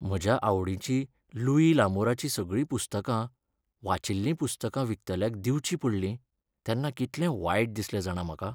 म्हज्या आवडीचीं लुई लामोराचीं सगळीं पुस्तकां, वाचिल्लीं पुस्तकां विकतल्याक दिवचीं पडलीं तेन्ना कितलें वायट दिसलें जाणा म्हाका.